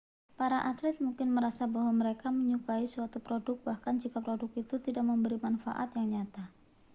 para atlet mungkin merasa bahwa mereka menyukai suatu produk bahkan jika produk itu tidak memberikan manfaat yang nyata